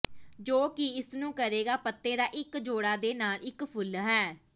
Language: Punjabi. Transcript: ਜੋ ਕਿ ਇਸ ਨੂੰ ਕਰੇਗਾ ਪੱਤੇ ਦਾ ਇੱਕ ਜੋੜਾ ਦੇ ਨਾਲ ਇੱਕ ਫੁੱਲ ਹੈ